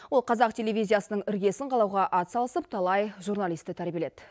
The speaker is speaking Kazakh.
ол қазақ телевизиясының іргесін қалауға атсалысып талай журналисті тәрбиеледі